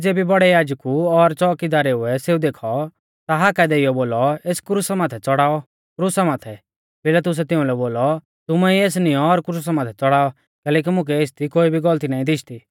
ज़ेबी बौड़ै याजकु और च़ोउकीदारुऐ सेऊ देखौ ता हाका देइयौ बोलौ एस क्रुसा माथै च़ौड़ाऊ क्रुसा माथै पिलातुसै तिउंलै बोलौ तुमै ई एस निऔं और क्रुसा माथै च़ड़ाऔ कैलैकि मुकै एसदी कोई भी गौलती नाईं दिशदी